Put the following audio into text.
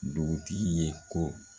Dugutigi ye ko